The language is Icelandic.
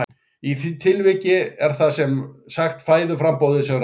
Í því tilviki er það sem sagt fæðuframboðið sem ræður.